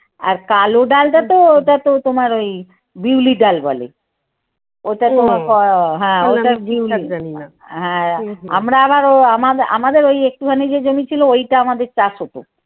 আর কালো ডালটা তো ওটা তো তোমার ওই বিউলি ডাল বলে। ওহ হ্যাঁ বিউলিডাল বলে আমরা আবার ও আমাদের ওই একটুখানি যে জমি ছিল ওইটা আমাদের চাষ হতো।